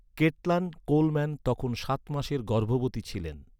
Caitlin Coleman তখন সাত মাসের গর্ভবতী ছিলেন।